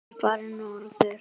Hann er farinn norður.